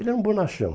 Ele era um bonachão.